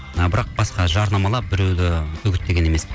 ы бірақ басқа жарнамалап біреуді үгіттеген емеспін